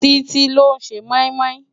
Titi ló n sé moimoi